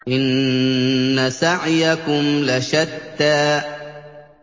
إِنَّ سَعْيَكُمْ لَشَتَّىٰ